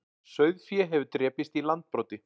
Sauðfé hefur drepist í Landbroti